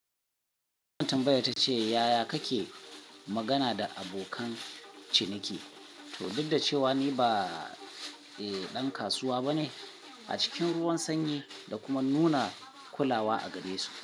Wannan tambaya ta ce, "Yaya kake magana da abokan ciniki, to duk da cewa ni ba, eh, ɗan kasuwa ba ne?" A cikin ruwan sanyi da kuma nuna kulawa a gare su.